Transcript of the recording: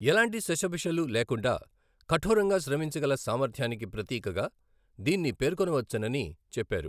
ఎలాంటి శషభిషలు లేకుండా కఠోరంగా శ్రమించగల సామర్థ్యానికి ప్రతీకగా దీన్ని పేర్కొనవచ్చునని చెప్పారు.